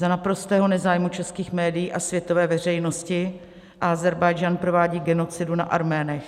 Za naprostého nezájmu českých médií a světové veřejnosti Ázerbájdžán provádí genocidu na Arménech.